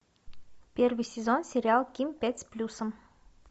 первый сезон сериал ким пять с плюсом